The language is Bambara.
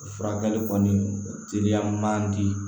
O furakɛli kɔni o teliya man di